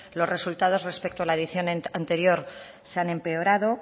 los resultados respecto a la edición anterior se han empeorado